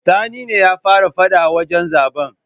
Sani ne ya fara fada a wajen zaben.